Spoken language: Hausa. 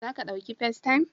Za ka ɗauki Festaym?